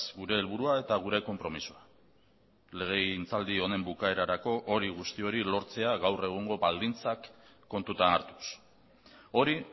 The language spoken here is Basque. gure helburua eta gure konpromisoa legegintzaldi honen bukaerarako hori guzti hori lortzea gaur egungo baldintzak kontutan hartuz hori